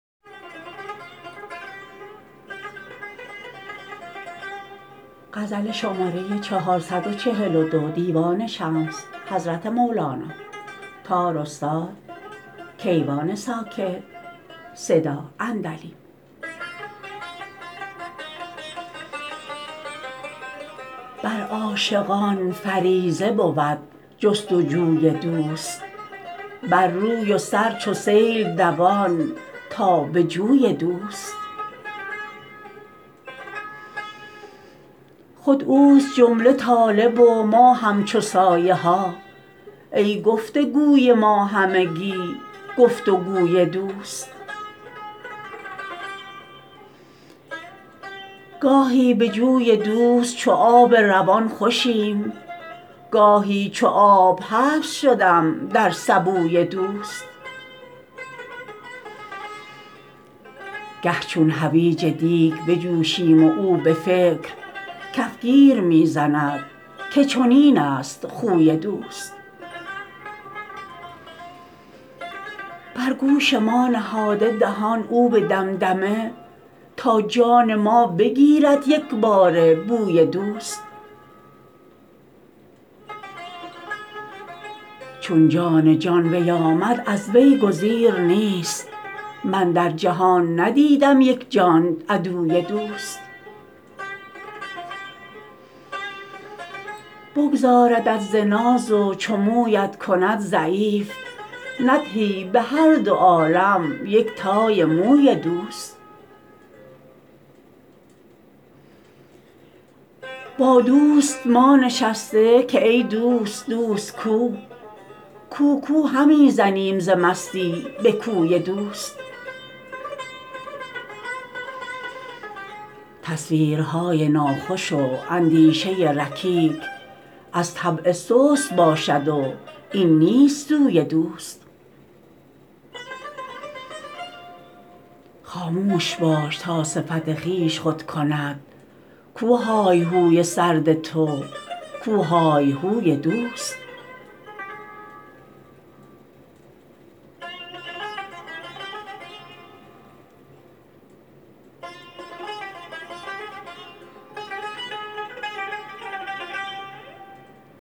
بر عاشقان فریضه بود جستجوی دوست بر روی و سر چو سیل دوان تا به جوی دوست خود اوست جمله طالب و ما همچو سایه ها ای گفتگوی ما همگی گفتگوی دوست گاهی به جوی دوست چو آب روان خوشیم گاهی چو آب حبس شدم در سبوی دوست گه چون حویج دیگ بجوشیم و او به فکر کفگیر می زند که چنینست خوی دوست بر گوش ما نهاده دهان او به دمدمه تا جان ما بگیرد یکباره بوی دوست چون جان جان وی آمد از وی گزیر نیست من در جهان ندیدم یک جان عدوی دوست بگدازدت ز ناز و چو مویت کند ضعیف ندهی به هر دو عالم یک تای موی دوست با دوست ما نشسته که ای دوست دوست کو کو کو همی زنیم ز مستی به کوی دوست تصویرهای ناخوش و اندیشه رکیک از طبع سست باشد و این نیست سوی دوست خاموش باش تا صفت خویش خود کند کو های های سرد تو کو های هوی دوست